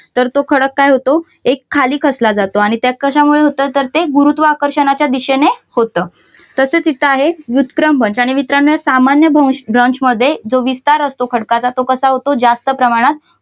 तर तो खडक काय होतो एक खाली खचला जातो आणि त्यात कशामुळे होतं तर ते गुरुत्वाकर्षणाच्या दिशेने होतं. तसच येथे आहे विक्रम भ्रंश आणि मित्रांनो या असामान्य भ्रंश मध्ये जो विस्तार असतो खडकाचा तो कसा होतो जास्त प्रमाणात